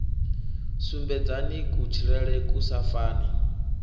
sumbedzani kutshilele ku sa fani